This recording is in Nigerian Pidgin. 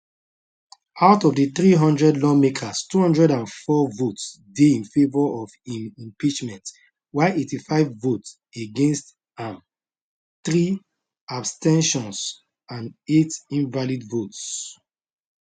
out of di 300 lawmakers 204 votes dey in favour of im impeachment while 85 vote against am three abs ten tions and eight invalid votes